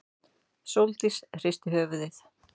Sóldís hristi höfuðið.